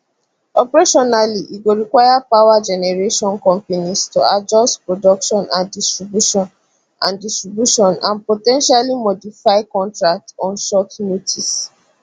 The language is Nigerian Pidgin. operationally e go require power generation companies to adjust production and distribution and distribution and po ten tially modify contracts on short notice